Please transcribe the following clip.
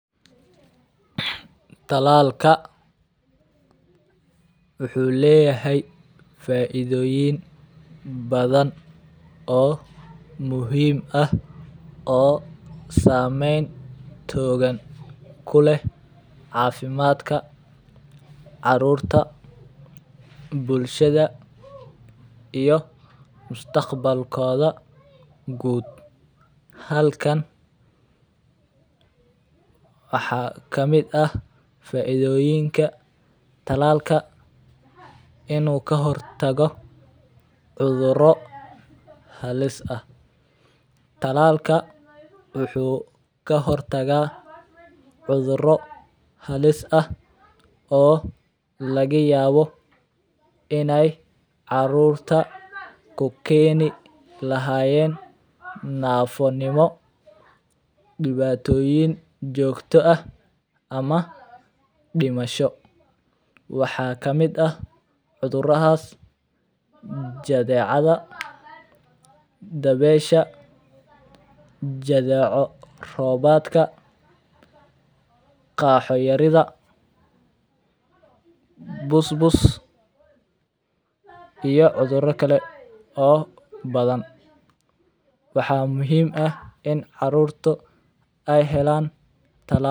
Tallalka wuxu leyahay faidoyin badan oo muxiim ah oo samentoda kuleh cafimadka carurta, bulshada iyo mustaqbalokoda guud, halkan waxa kamid ah faidoyinka tallaalka inu kahirtago cuduro halis ah, oo lagayawo inay carurta kukeni lahayeen nafonimo dibatoyin jogta ah, ama dimasho, waxa kamid ah cudurahas jadicada dabesha jadeco, gaho yarida busbus iyo cudura kale oo badan, waxa muxiim ah in carurtu ay helaan tallal.